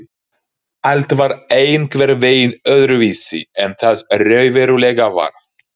Allt var einhvern veginn öðruvísi en það raunverulega var.